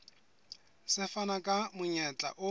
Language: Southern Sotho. se fana ka monyetla o